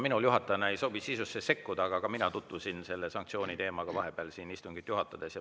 Minul juhatajana ei sobi sisusse sekkuda, aga ka mina tutvusin selle sanktsiooni teemaga vahepeal siin istungit juhatades.